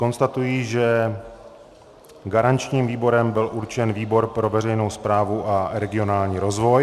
Konstatuji, že garančním výborem byl určen výbor pro veřejnou správu a regionální rozvoj.